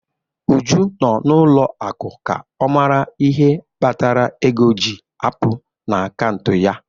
Uju nọ n'ụlọ akụ ka ọ mara ihe kpatara ego ji apụ n'akaụntụ ya.